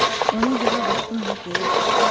Ona görə vaxtını haqq yerə itirmə.